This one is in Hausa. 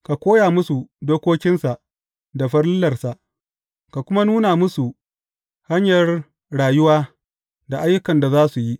Ka koya musu dokokinsa da farillarsa, ka kuma nuna musu hanyar rayuwa da ayyukan da za su yi.